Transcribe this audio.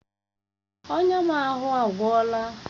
Èè, ọnya m ahụ agwọla.